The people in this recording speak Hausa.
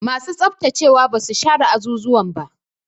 Masu tsaftacewa ba su share azuzuwan ba.